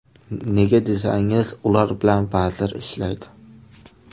Nega desangiz, ular bilan vazir ishlaydi.